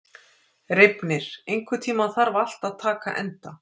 Reifnir, einhvern tímann þarf allt að taka enda.